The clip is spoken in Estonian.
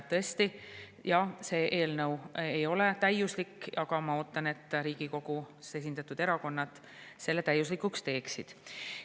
Tõesti, jah, see eelnõu ei ole täiuslik, aga ma ootan, et Riigikogus esindatud erakonnad selle täiuslikuks teeksid.